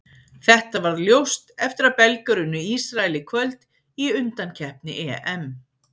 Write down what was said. Þetta varð ljóst eftir að Belgar unnu Ísrael í kvöld í undankeppni EM.